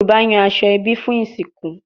Yoruba yan aso ebi fun isinku